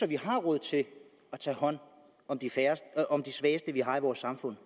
vi har råd til at tage hånd om de svageste vi har i vores samfund